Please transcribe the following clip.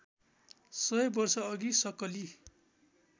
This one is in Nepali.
सय वर्षअघि सक्कली